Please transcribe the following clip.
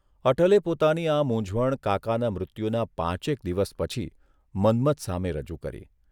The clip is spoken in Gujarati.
અટલે પોતાની આ મૂંઝવણ કાકાના મૃત્યુના પાંચેક દિવસ પછી મન્મથ સામે રજૂ કરી.